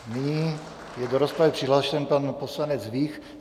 Nyní je do rozpravy přihlášen pan poslanec Vích.